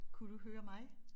Kunne du høre mig?